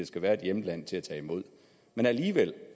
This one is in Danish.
skal være et hjemland til at tage imod men alligevel